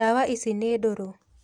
Ndawa ici nĩ ndũrũ.